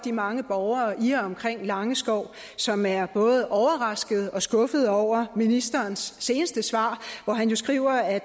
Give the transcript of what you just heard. de mange borgere i og omkring langeskov som er både overraskede og skuffede over ministerens seneste svar hvor han jo skriver at